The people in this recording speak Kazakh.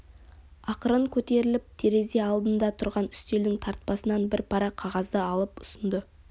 ақырын көтеріліп терезе алдында тұрған үстелдің тартпасынан бір парақ қағазды алып ұсынды